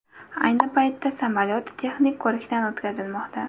Ayni paytda samolyot texnik ko‘rikdan o‘tkazilmoqda.